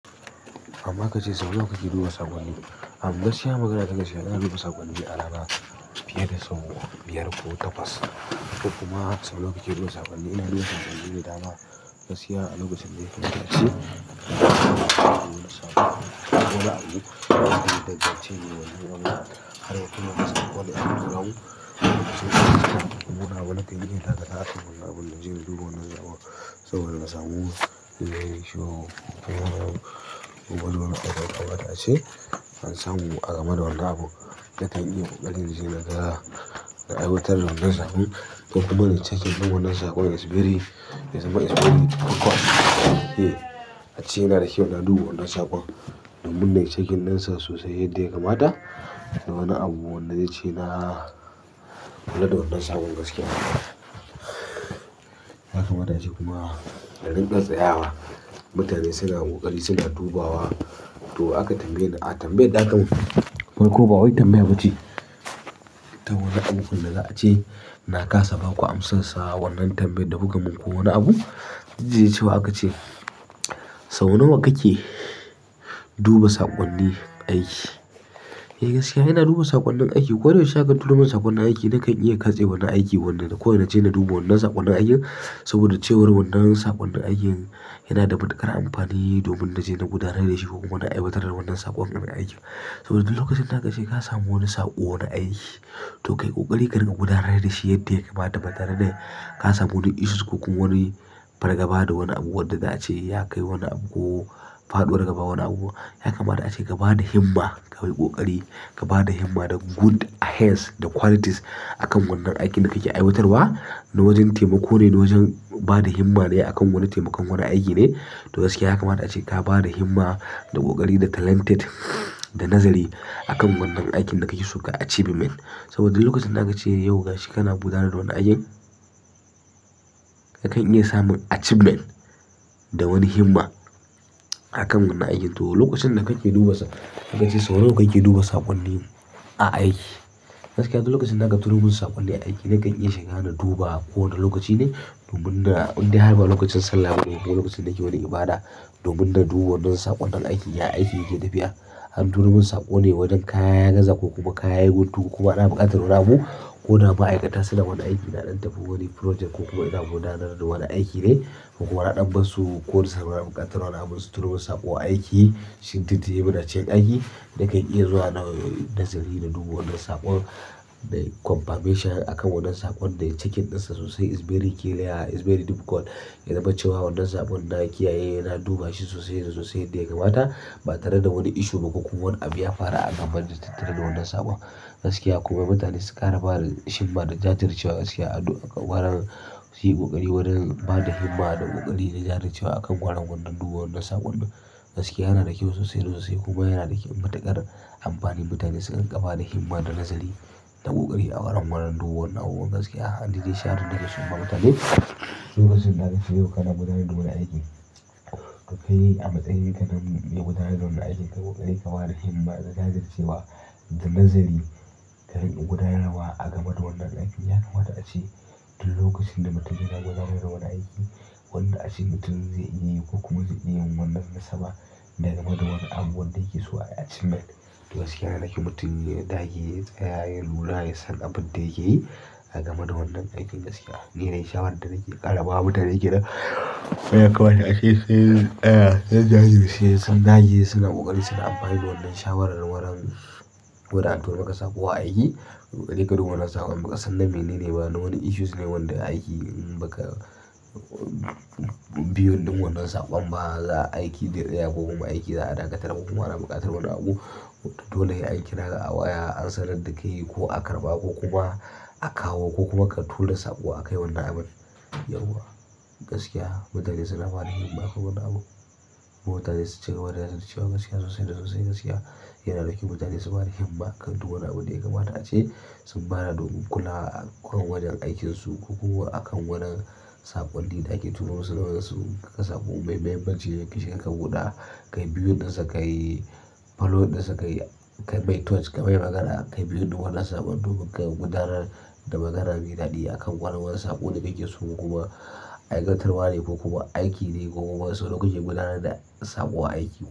Amma kace sau nawa kake duba saƙonni. Am gaskiya magana ta gaskiya ina duba saƙonni a rana fiye da sau biyar ko takwas. To kuma sau nawa kake duba saƙonni ina duba saƙonnin da dama. Gaskiya a lokacin dai zan ce duk wani abu ɗaya danganci inyi wannan abun har ya kai ga saƙo ne aka tura mun, duk wani abu na kanyi inyi takatsantsan akan wannan abun da zan duba wannan saƙon saboda in samu ko wani abu da yakamata ace an samu game da wannan abun na kan iya ƙoƙari in je naga na aiwatar da wannan saƙon ko kuma nai checking ɗin wannan saƙon is very ya zama is very important here ace yana da kyau ina duba wannan saƙon domin nai checking ɗinsa sosai yadda yakamata da wani abu wanda zai ce na kula da wannan saƙon gaskiya yakamata ace kuma ya rinƙa tsayawa. Mutane suna ƙoƙari suna dubawa. To aka tambaye ni, a tambaye da a ka mun farko ba wai tambaya ba ce. Dan wani aikin da za a ce na kasa baku amsan sa wannan tambayan da kuka min ko wani abu. Da idan cewa aka ce, sau nawa kake duba saƙonni aiki? Eh gaskiya ina duba saƙonnin aiki. Koda yaushe aka turomin saƙonnin aiki nakan iya katse wani aiki wanda da kawai na je na duba wannan saƙonnin aikin saboda cewar wannan saƙonnin aikin yana da matuƙar amfani domin na je na gudanar da shi ko kuma na aiwatar da wannan saƙon wurin aikin. Saboda duk lokacin da aka ce ka samu wani saƙo wani aiki, to kai ƙoƙari kar ka rinƙa gudanar da shi yadda yakamata ba tare da ka samu wani issues ko kuma wani fargaba da wani abu wadda za a ce ya kai wani abu ko faɗuwar gaba wani abu. Yakamata a ce ka ba da himma, kai ƙoƙari, ka ba da himma da good ahead da qualities a kan wannan aikin da kake aiwatarwa. Na wajen taimako ne, na wajen ba da himma ne a kan wani taimakon wani aiki ne. To gaskiya yakamata a ce, ka ba da himma, da ƙoƙari, da talented, da nazari a kan wannan aikin da kake so kai achievement. Saboda duk lokacin da aka ce yau gashi kana gudanar da wani aikin, ka kan iya samun achievement da wani himma a kan wannan aikin. To lokacin da kake duba saƙonni, aka ce sau nawa kake duba saƙonni a aiki? Gaskiya duk lokacin da aka turo min saƙonni aiki nakan iya shiga na duba ko wane lokaci ne domin na, indai har ba lokacin Sallah bane ko lokacin da nake wani ibada, domin na duba wannan saƙon na aiki. Ya aiki yake tafiya? An turo mun sakone wajen kaya ya gaza ne ko kuma kaya yayi guntu kuma ana buƙatar wani abu, koda ma'aikata suna wani aiki na dan tafi wani project ko kuma ina gudanar da wani aiki ne ko kuma na ɗan bar su ko suna buƙatar wani abu su turo saƙo aiki. Shin duk da dai muna cikin aiki, nakan iya zuwa nai nazari na duba wannan saƙon. Nai confirmation a kan wannan saƙon nai checking ɗinsa sosai is very clear, is very difficult. Ya zama cewa wannan saƙon na kiyaye na duba shi sosai da sosai yadda ya kamata ba tare da wani issue ba ko kuma wani abu ya faru a game da tattare da wannan saƙo. Gaskiya kuma mutane su ƙara bada himma da jajircewa gaskiya a ƙoƙarin suyi ƙoƙari wurin bada himma da ƙoƙari da jajircewa a kan gwaran wannan duba wannan saƙon. Gaskiya yana da kyau sosai da sosai kuma yana da kyau matuƙar amfani mutane su rinƙa bada himma da nazari da ƙoƙari a wurin wannan duba wannan abubuwan gaskiya. Ai ni dai sha'awar da nake so in ba. Mutane duk lokacin da aka ce yau kana gudanar da wani aiki, ka kai a matsayi ka na mai gudanar da wannan aiki. Ka yi ƙoƙari, ka ba da himma da jajircewa da nazari ka gudanar wa a game da wannan aikin. Yakamata a ce duk lokacin da mutum yana gudanar da wani aiki, wanda ace mutum zai iya ko kuma zai iya yin wannan nasaba da game da wani abu wanda yake so ai achievement. To gaskiya yana da kyau mutum ya dage ya tsaya ya lura yasan abun da yake yi a game da wannan aikin gaskiya. Ni dai shawarar da nake ƙara ba mutane kenan yakamata ace sun tsaya sun jajirce sun dage suna ƙoƙari suyi amfani da wannan shawarar wurin koda an turo maka saƙo wurin aiki sai ka duba wannan saƙon baka san na menene ba na wani issues ne wanda aiki in ba kai viewing ɗin wannan saƙon ba za aiki zai tsaya ko kuma aiki za a dakatar ko kuma ana buƙatar wani abu. Dole he an kiraka a waya an sanar da kai ko a karɓa ko kuma a kawo ko kuma ka tura saƙo a kai wannan abun. Yauwa gaskiya mutane suna ba da himma kan wannan abu. Mutane su cigaba da jajircewa gaskiya sosai da sosai gaskiya yana da kyau mutane su ba da himma kan duk wani abu da ya kamata ace sun bada domin kula a kan wajen aikinsu ko kuma a kan wanin saƙonni da ake turo musu daga saƙo. Mai muhimmanci sai ka shiga ka buɗa kai viewing ɗinsa kayi kayi following ɗinsa, kai mai touch ka mai magana, kayi viewing ɗin wannan saƙon duk ka gudanar da magana mai daɗi akan wani saƙo da kake so ko kuma aikatarwane ko kuma aikine ko kuma wasu kuke gudanarwa da saƙo a aiki.